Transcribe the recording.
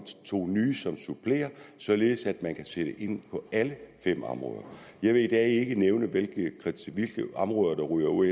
to nye som supplerer således at man kan sætte ind på alle fem områder jeg vil i dag ikke nævne hvilke områder der ryger ud